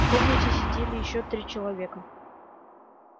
в комнате сидели ещё три человека